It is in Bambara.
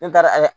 N taara ayiwa